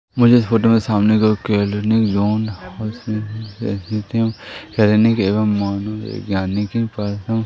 मुझे इस फोटो में सामने की ओर क्लीयनिक जोन क्लीनिक एवं मनोवैज्ञानिकी --